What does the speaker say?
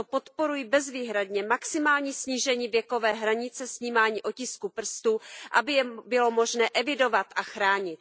Proto podporuji bezvýhradně maximální snížení věkové hranice snímání otisků prstů, aby je bylo možné evidovat a chránit.